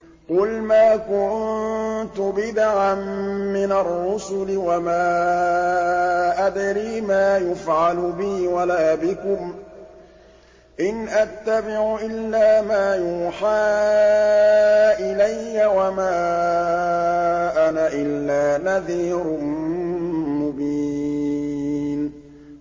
قُلْ مَا كُنتُ بِدْعًا مِّنَ الرُّسُلِ وَمَا أَدْرِي مَا يُفْعَلُ بِي وَلَا بِكُمْ ۖ إِنْ أَتَّبِعُ إِلَّا مَا يُوحَىٰ إِلَيَّ وَمَا أَنَا إِلَّا نَذِيرٌ مُّبِينٌ